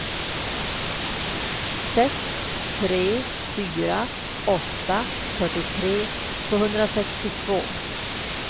sex tre fyra åtta fyrtiotre tvåhundrasextiotvå